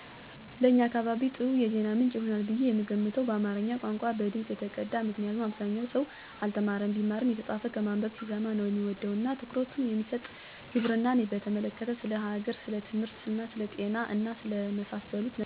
ለእኛ አካባቢ ጥሩ የዜና ምንጭ ይሆናል ብየ የምገምተው በአማረኛ ቋንቋ፣ በድምጽ የተቀዳ ምክንያቱም አብዛኛው ሰው አልተማረም ቢማርም የተጻፈ ከማነበብ ሲሰማ ነው ሚወድ እና ትኩረት የሚሰጥ፣ ግብርናን በተመለከተ፣ ስለ ሀገር፣ ስለትምህርት፣ ስለ ጤና እና ስለመሳሰሉት ነገሮች አዲስ ጠጉረ ልውጥ ያልሆነ የሰውን ባህል የሚያውቅ፣ በማኅበረሰባችን ዘንድ ተቀባይነት ያለው የተማረ ሰለሆነ የተማረ እና በእድሜ የገፋ ሰው ቢሆን የተሻለ ይሆናል ብየ አሰባለሁ።